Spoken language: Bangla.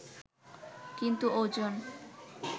কিন্তু ওজন